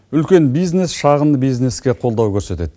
үлкен бизнес шағын бизнеске қолдау көрсетеді